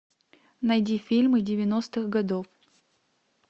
найди фильмы девяностых годов